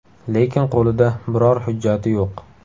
Lekin qo‘lida biror hujjati yo‘q.